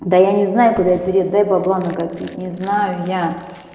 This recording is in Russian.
да я не знаю куда я перееду дай бабла накопить не знаю я